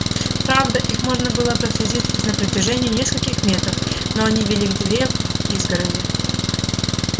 правда их можно было проследить лишь на протяжении нескольких метров но они вели к дыре в изгороди